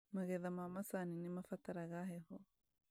Magetha ma macani nĩmabataraga heho